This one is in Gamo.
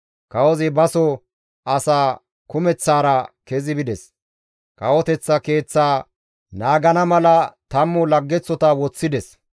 Kawozi baso asaa kumeththaara kezi bides; kawoteththa keeththaa naagana mala 10 laggeththota woththides.